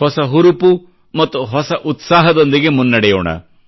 ಹೊಸ ಹುರುಪು ಮತ್ತು ಹೊಸ ಉತ್ಸಾಹದೊಂದಿಗೆ ಮುನ್ನಡೆಯೋಣ